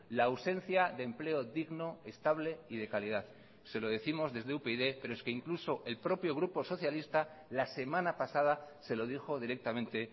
la ausencia de empleo digno estable y de calidad se lo décimos desde upyd pero es que incluso el propio grupo socialista la semana pasada se lo dijo directamente